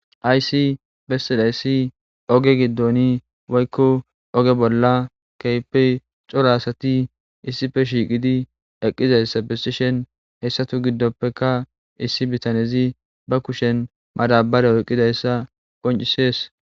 Haysi bessidayssi oge giddoni woykko oge bolla keypey coro asati issife shiiqidi eqqizayssa besishen heyssatu giddoppeka issi bitanezi ba kushen madabare oqqizayssa qoncisees